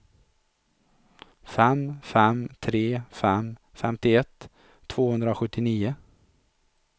fem fem tre fem femtioett tvåhundrasjuttionio